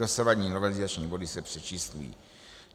Dosavadní novelizační body se přečíslují.